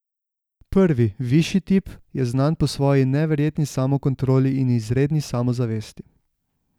Prvi, višji tip, je znan po svoji neverjetni samokontroli in izredni samozavesti.